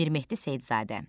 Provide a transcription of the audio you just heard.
Mir Mehdi Seyidzadə.